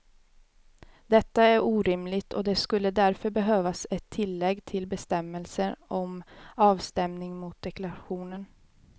Detta är orimligt och det skulle därför behövas ett tillägg till bestämmelsen om avstämning mot deklarationen.